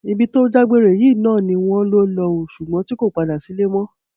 ibi tó dágbére yìí náà ni wọn lọ lò ó ṣùgbọn tí kò padà sílé mọ